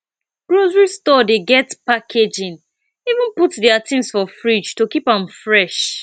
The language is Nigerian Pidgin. grocery store dey get packaging even put their things for fridge to keep am fresh